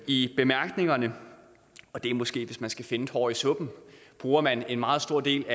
i bemærkningerne og det er måske hvis jeg skal finde et hår i suppen bruger man en meget stor del